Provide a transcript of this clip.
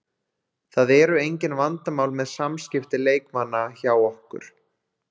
Það eru engin vandamál með samskipti leikmanna hjá okkur.